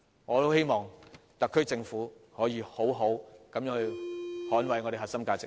我十分希望特區政府可以好好捍衞我們的核心價值。